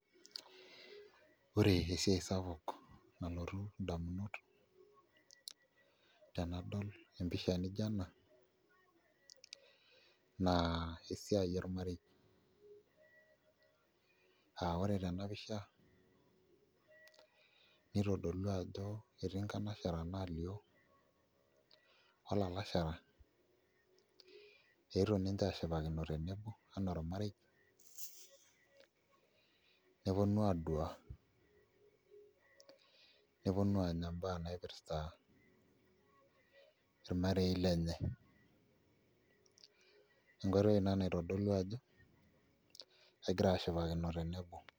Ore esiai sapuk nalotu indamunot tenadol empisha nijio ena naa esiai ormarei aa ore tena pisha nitodolua ajo etii nkanasharana naalioo olalashara eetuo ninche aashipakino tenebo enaa ormarei neponu aaduaa neponu aanya imbaa naipirta irmarei lenye enkoitoi Ina naitodolu ajo kegira aashipakino tenebo.